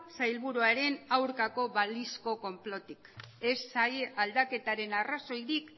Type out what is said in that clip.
sailburuaren aurkako balizko konplotik ez saila aldaketaren arrazoirik